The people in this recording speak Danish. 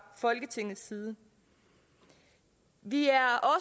folketingets side vi er